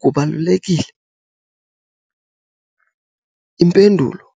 Kubalulekile? Impendulo-